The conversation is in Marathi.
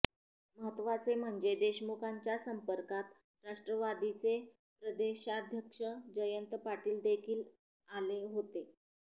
महत्वाचे म्हणजे देशमुखांच्या संपर्कात राष्ट्रवादीचे प्रदेशाध्यक्ष जयंत पाटीलदेखील आले होते